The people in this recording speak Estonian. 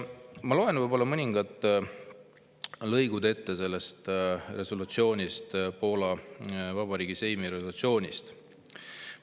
Ma loen mõningad lõigud sellest resolutsioonist, Poola Vabariigi Seimi resolutsioonist ette.